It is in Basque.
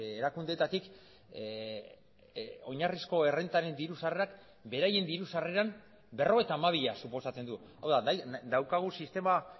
erakundeetatik oinarrizko errentaren diru sarrerak beraien diru sarreran berrogeita hamabia suposatzen du hau da daukagu sistema